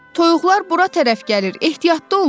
Toyuqlar bura tərəf gəlir, ehtiyatlı olun!